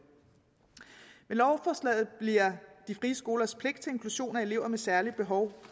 med lovforslaget bliver de frie skolers pligt til inklusion af elever med særlige behov